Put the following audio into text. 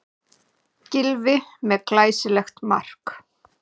Gylfi með glæsilegt mark